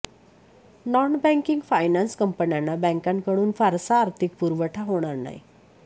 non banking finance कंपन्यांना बॅंकांकडून फारसा आर्थिक पुरवठा होणार नाही